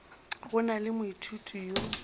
go na le moithuti yo